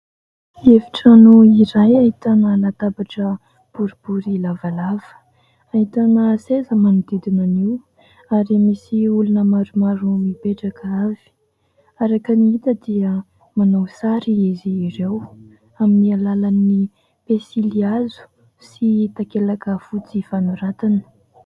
Efitrano iray ahitana latabatra boribory lavalava. Ahitana seza manodidina an'io ary misy olona maromaro mipetraka avy ; araka ny hita dia manao sary izy ireo amin'ny alalan'ny penisilihazo sy takelaka fotsy fanoratana.